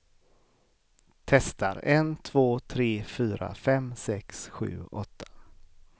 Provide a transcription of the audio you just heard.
Testar en två tre fyra fem sex sju åtta.